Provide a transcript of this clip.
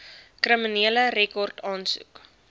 kriminele rekord aansoek